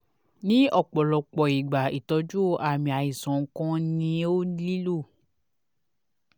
ni ọpọlọpọ igba itọju aami aisan nikan ni o nilo